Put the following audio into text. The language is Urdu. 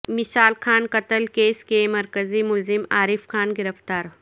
مشال خان قتل کیس کے مرکزی ملزم عارف خان گرفتار